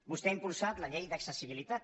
vostè ha impulsat la llei d’accessibilitat